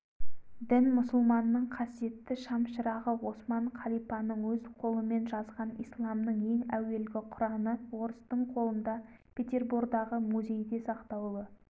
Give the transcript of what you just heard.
большевиктер қаланы кезіп сыпыра оқтын астына алды мұсылман советіне де оқ жаудырды қала бықпырт тигендей аласапыран